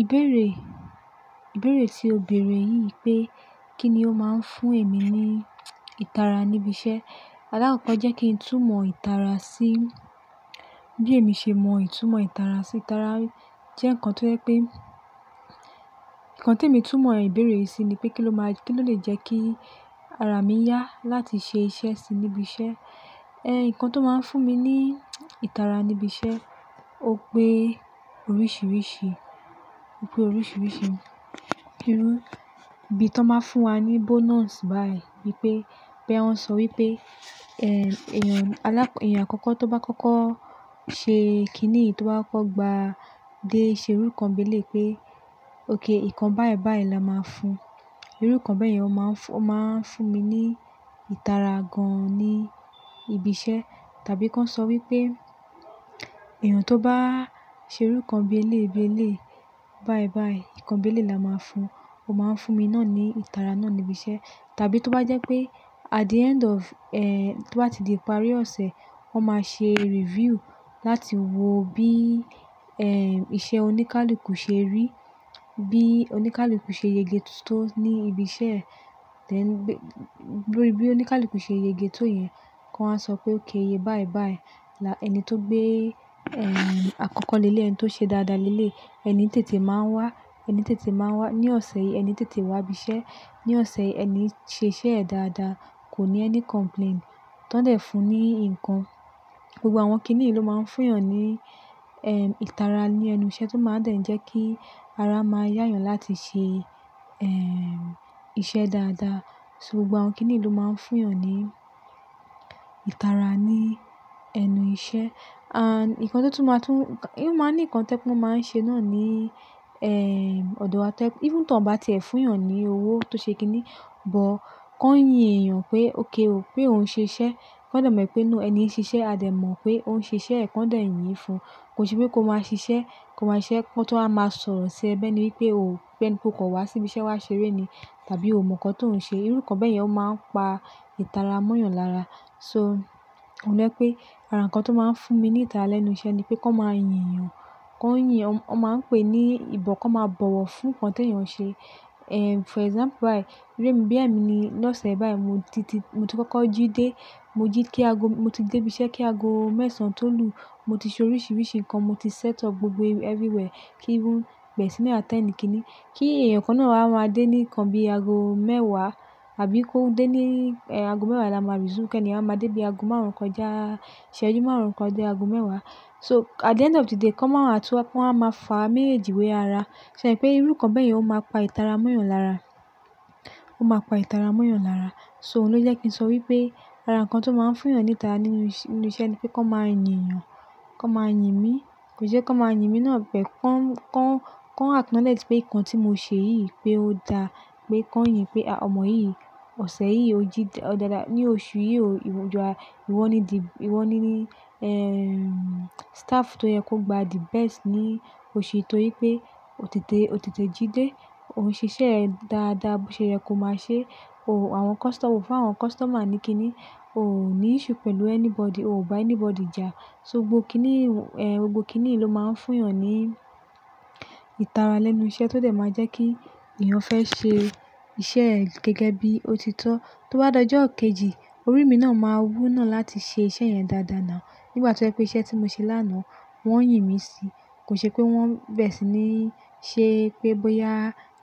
Ìbéèrè, ìbéèrè ti òbèèrè yìí pé kí ni ó máa ń fún èmi ní ìtara níbi iṣẹ́. Alákọ̀ọ́ jẹ́ kí n túmọ̀ ìtara sí, bí èmi ṣe mọ ìtumọ̀ ìtara sí. Ìtara jẹ́ nǹkan tó jẹ́ pé, nǹkan tí èmi túmọ̀ ẹ̀bẹ̀rẹ̀ sí ni pé kí ló máa, kí ló lè jẹ́ kí ara mi yá láti ṣe iṣẹ́ síi níbi iṣẹ́. Ìkankan tó máa ń fún mi ní ìtara níbi iṣẹ́, ó pé oríṣiríṣi, ó pé oríṣiríṣi. Irú bí tó máa ń fún wa ní bonus báyìí, wípé, pé wón ń sọ wípé, èèyàn alákọ́, èèyàn àkọ́kọ́ tó bá kọ́kọ́ ṣe kiní tó bá kọ́ gba dé ṣe irú kan béle pé, "Okay, ìkan báyìí báyìí la máa fun." Irú kan bẹ́ẹ̀ yẹn ó máa ń fún, ó máa ń fún mi ní ìtara gan-an ní ibi iṣẹ́. Tàbí kí wọ́n sọ wípé, èèyàn tó bá ṣe irú kan bi eleyii bi eleyii, báyìí báyìí, ìkan bi emeyii la máa fun. Ó máa ń fún mi náà ní ìtara náà níbi iṣẹ́. Tàbí tó bá jẹ́ pé at the end of, tó bá ti di ìparí ọ̀sẹ̀, wón máa ṣe review láti wo bí, iṣẹ́ oníkálukú ṣe rí, bí oníkálukú ṣe yege tó ní ibi iṣẹ́. E then bí oníkálukú ṣe yege tó yẹn, kí wọ́n á sọ pé okay eye báyìí báyìí. La ẹni tó gbé, àkọ́kọ́ lé lé ẹni tó ṣe dáadáa lé lé, ẹni tètè máa ń wá, ẹni tètè máa ń wá ní ọ̀sẹ̀ yìí, ẹni tètè wá ibi iṣẹ́ ní ọ̀sẹ̀ yìí, ẹni ṣe iṣẹ́ ẹ̀ dáadáa, kò ní ẹni complain, tọ́ dẹ̀ fún un ní nǹkan. Gbogbo àwọn kiní yìí ló máa ń fún èèyàn ní, ìtara ní ẹnu iṣẹ́ tó máa ń dẹ̀ jẹ́ kí ara máa yá èèyàn láti ṣe, iṣẹ́ dáadáa. So gbogbo àwọn kiní yìí ló máa ń fún èèyàn ní ìtara ní ẹnu iṣẹ́. And nǹkan tó tún máa tún, kí wọ́n máa ní nǹkan tẹ́ mọ́ máa ń ṣe náà ní, ọ̀dọ̀ wa tẹ́. Even tó à bá ti ẹ̀ fún èèyàn ní owó tó ṣe kiní, but kó yin èèyàn pé okay o, pé òun ṣe iṣẹ́. Kọ́ dẹ̀ mọ̀ pé no ẹni ń ṣe iṣẹ́, a dẹ̀ mọ̀ pé òun ṣe iṣẹ́ ẹ̀ kọ́ dẹ̀ yin fún. Kò ṣe pé kó máa ṣe iṣẹ́, kó máa ṣe iṣẹ́ kó tó máa máa sọ̀rọ̀ sí ẹ bẹ́ẹ̀ ni wípé o, pé ni pé o kò wá sí ibi iṣẹ́ wá ṣeré ni, tàbí o mọ̀ nǹkan tó ún ṣe. Irú kan bẹ́ẹ̀ yẹn ó máa ń pa ìtara mọ́ èèyàn lára. So òun jẹ́ pé ara nǹkan tó máa ń fún mi ní ìtara lẹ́nu iṣẹ́ ni pé kó máa yin èèyàn, kó ń yin, wọ́n máa ń pe ní ìbọn kó máa bọ̀wọ̀ fún nǹkan tí èèyàn ṣe. For example báyìí, gbé mi bí èmi ní lọ́sẹ̀ báyìí mo ti, mo ti kọ́kọ́ jí dé, mo jí kí ago, mo ti dé ibi iṣẹ́ kí ago mẹ́sàn-án tó lù. Mo ti ṣe oríṣiríṣi nǹkan, mo ti set up gbogbo everywhere kí ń bere sini attend kiní. Kí èèyàn kan náà a máa dé ní ìkan bí ago mẹ́wàá, àbí kó dé ní, ago mẹ́wàá la máa resume kí èèyàn máa dé bí ago márùn-ún kan já, ṣe ojú márùn-ún kan dé ago mẹ́wàá. So at the end of the day kó máa wá, tí wọ́n á máa fà mí èjìwé ara. Ṣé ẹ mo pe Irú kan bẹ́yẹn ó máa pa ìtara mọ́ èèyàn lára, ó máa pa ìtara mọ́ èèyàn lára. So òun ló jẹ́ kí n sọ wípé ara nǹkan tó máa ń fún èèyàn ní ìtara nínú iṣẹ́ ni pé kó máa yin èèyàn, kó máa yin mí. Kò jẹ́ kó máa yin mí náà bẹ́ẹ̀, kó ń, kó ń, kó ń acknowledge pé nǹkan tí mo ṣe yìí pé ó da, pé kó ń yìn pé a, ọmọ yìí, ọ̀sẹ̀ yìí ó jí dáadáa, ní oṣù yìí o, ìwọ ju a, ìwọ ni the, ìwọ ni, staff tó yẹ kó gba the best ní oṣù yìí torí pé o tètè, o tètè jí dé, òun ṣe iṣẹ́ ẹ̀ dáadáa bó ṣe yẹ kó máa ṣe o. Àwọn customer, o fún àwọn customer ni kiní, o ò ní issue pẹ̀lú anybody, o ò bá anybody jà. So gbogbo kiní, gbogbo kiní yìí ló máa ń fún èèyàn ní ìtara lẹ́nu iṣẹ́ tó dẹ̀ máa jẹ́ kí èèyàn fẹ́ ṣe iṣẹ́ ẹ̀ gẹ́gẹ́ bí ó ti tọ́. Tó bá dojú òkèjì, orí mi náà máa wú náà láti ṣe iṣẹ́ yẹn dáadáa náà. Nígbà tí ó jẹ́ pé iṣẹ́ tí mo ṣe lánàá wọ́n yìn mí síi. Kò ṣe pé wọ́n bẹ́ẹ̀ sì ni ṣe pé bóyá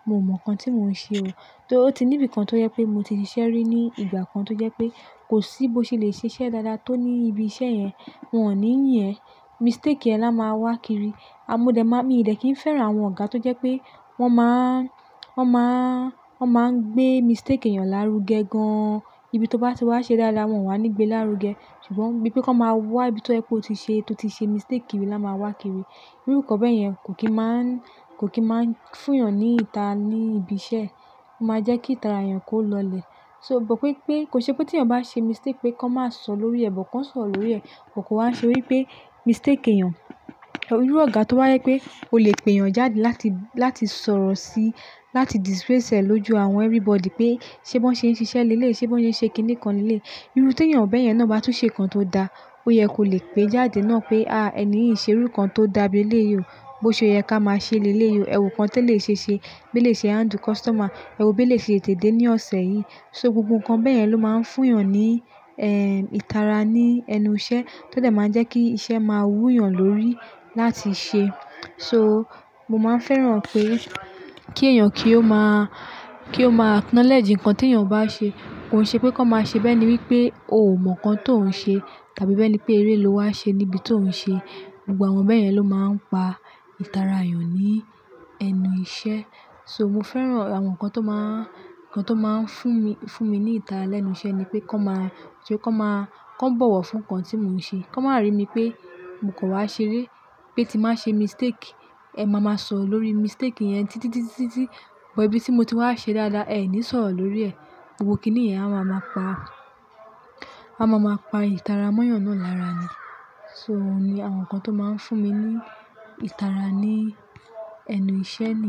mo mọ̀ nǹkan tí mò ń ṣe o. Torí ó ti níbi kan tó jẹ́ pé mo ti ṣe iṣẹ́ rí ní ìgbà kan tó jẹ́ pé kò sí bó ṣe lè ṣe iṣẹ́ dáadáa tó ní ibi iṣẹ́ yẹn, wọ́n ò ní yín ẹ. Mistake ẹ́ la máa wá kiri. A mo dẹ̀ má, mi dẹ̀ kí n fẹ́ràn àwọn ọ̀gá tó jẹ́ pé wọ́n máa ń, wọ́n máa ń, wọ́n máa ń gbé mistake èèyàn lárugẹ gan-an. Ibi tó bá ti wá ṣe dáadáa wọ́n wà ní gbé lárugẹ. Ṣùgbọ́n bí pé kó máa wá ibi tó jẹ́ pé o ti ṣe, tó ti ṣe mistake ni la máa wá kiri. Irú kan bẹ́ẹ̀ yẹn kò kì í máa ń, kò kì í máa ń fún èèyàn ní ìtara ní ibi iṣẹ́. Ó máa jẹ́ kí ìtara èèyàn kó lọlẹ̀. So mo gbọ́ pé pé kò ṣe pé tí èèyàn bá ṣe mistake pé kó máa sọ lórí ẹ̀, but kan sọ̀rọ́ lórí ẹ̀. Kò kú wá ṣe wípé mistake èèyàn, irú ọ̀gá tó wá jẹ́ pé ó lè pe èèyàn jáde láti, láti sọ̀rọ̀ síi, láti disgrace ẹ̀ lójú àwọn everybody pé ṣé bo ń ṣe iṣẹ́ lé leyii ṣé bo ń ṣe kiní kan lé leyii Irú tí èèyàn bẹ́ẹ̀ yẹn náà bá tún ṣe nǹkan tó da, ó yẹ kó lè pé jáde náà pé, "Ah èèyàn yìí ṣe irú nǹkan tó dàa léyìí o. Bó ṣe ó yẹ ká máa ṣe lé léyìí o. Ẹ̀wù kan tẹ́ eleyii ṣe ṣe, bí elèyii ṣe handle customer, ẹ̀wo bí eleyii ṣe tètè dé ní ọ̀sẹ̀ yìí." So gbogbo nǹkan bẹ́ẹ̀ yẹn ló máa ń fún èèyàn ní, ìtara ní ẹnu iṣẹ́ tó dẹ̀ máa jẹ́ kí iṣẹ́ máa wú èèyàn lórí láti ṣe. So mo máa ń fẹ́ràn pé kí èèyàn kí ó máa, kí ó máa acknowledge nǹkan tí èèyàn bá ṣe. Kò ṣe pé kó máa ṣe bẹ́ẹ̀ ni wípé ò mọ̀ nǹkan tó ń ṣe tàbí bẹ́ẹ̀ ni pé eré ló wá ṣe níbi tó ń ṣe. Gbogbo àwọn bẹ́ẹ̀ yẹn ló máa ń pa ìtara èèyàn ní ẹnu iṣẹ́. So mo fẹ́ràn àwọn nǹkan tó máa ń, nǹkan tó máa ń fún mi, fún mi ní ìtara lẹ́nu iṣẹ́ ni pé kó máa, kí ó kó máa, kó bọ̀wọ̀ fún nǹkan tí mò ń ṣe. Kó má rí mi pé mo kò wá ṣeré, pé tí màá ṣe mistake, ẹ máa ma sọ̀ ọ́ lórí mistake yẹn títí, títí, títí. But ibi tí mo ti wá ṣe dáadáa ẹ ní sọ̀ ọ́ lórí ẹ̀. Gbogbo kiní yẹn á máa ma pa, á máa ma pa ìtara mọ́ èèyàn náà lára ni. So òun ni àwọn nǹkan tó máa ń fún mi ní ìtara ní ẹnu iṣẹ́ mi.